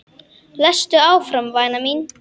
Lestu áfram væna mín!